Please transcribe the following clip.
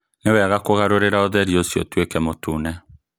Nĩ wega kũgarũrĩra ũtheri ũcio ũtuĩke mũtune.